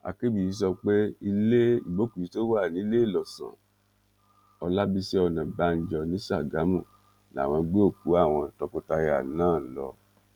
akínbíyí sọ pé ilé ìgbókùúsí tó wà níléelọsàn ọlábiṣí ọnàbànjọ ní ṣàgámù làwọn gbé òkú àwọn tọkọtaya náà lọ